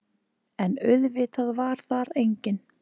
En auðvitað var þar enginn.